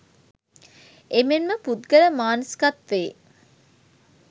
එමෙන්ම පුද්ගල මානසිකත්වයේ